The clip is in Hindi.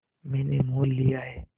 मैंने मोल लिया है